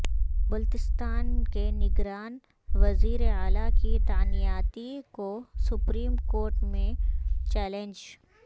بلتستان کے نگران وزیراعلی کی تعیناتی کو سپریم کورٹ میں چیلنج